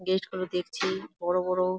Gate গুলো দেখছি বড় বড় ।